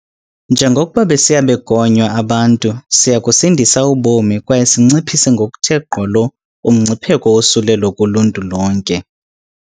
Njengokuba besiya begonywa abantu, siya kusindisa ubomi kwaye sinciphise ngokuthe gqolo umngcipheko wosulelo kuluntu lonke.